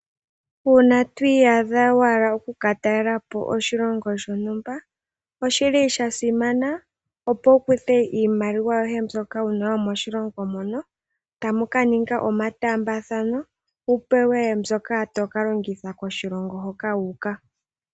Uuna twiyadha wahala okuka talelapo oshilongo shontumba oshili sha simana opo wu kuthe iimaliwa yoye mbyoka wuna yomoshilongo tamuka ninga omatambathano wupewe mbyoka toka longitha koshilongo haka wu uka.